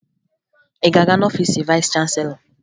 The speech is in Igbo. Ị ga-aga n'ọfiisi vayịs chanselọ?